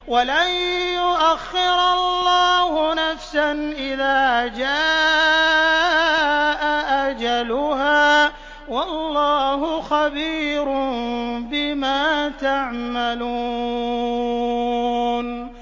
وَلَن يُؤَخِّرَ اللَّهُ نَفْسًا إِذَا جَاءَ أَجَلُهَا ۚ وَاللَّهُ خَبِيرٌ بِمَا تَعْمَلُونَ